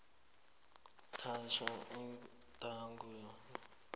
thathwa igadangiso lemino